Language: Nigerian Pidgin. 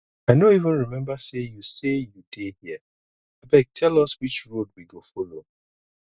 i no even remember say you say you dey here abeg tell us which road we go follow